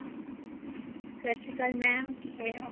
ਸਤਿ ਸ਼੍ਰੀ ਅਕਾਲ mam ਕਿਵੇਂ ਓ